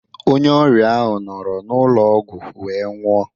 Onye ọrịa ahụ nọrọ n'ụlọ ọgwụ wee nwụọ.